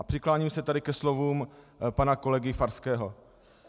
A přikláním se tady ke slovům pana kolegy Farského.